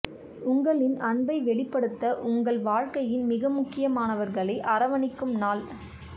உங்களின் அன்பை வெளிப்படுத்த உங்கள் வாழ்க்கையின் மிகமுக்கியமானவர்களை அரவணைக்கும் நாள்